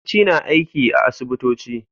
Likitoci na aiki a asibitoci.